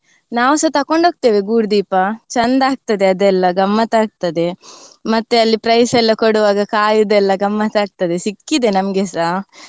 ನಾವೂಸ ತಕೊಂಡ್ ಹೋಗ್ತೇವೆ ಗೂಡುದೀಪ ಚೆಂದ ಆಗ್ತದೆ ಅದೆಲ್ಲ ಗಮ್ಮತ್ ಆಗ್ತದೆ ಮತ್ತೆ ಅಲ್ಲಿ prize ಎಲ್ಲ ಕೊಡುವಾಗ ಕಾಯುದೆಲ್ಲ ಗಮ್ಮತ್ ಆಗ್ತದೆ ಸಿಕ್ಕಿದೆ ನಂಮ್ಗೇಸ